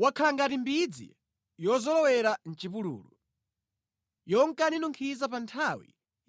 wakhala ngati mbidzi yozolowera mʼchipululu, yonka ninunkhiza pa nthawi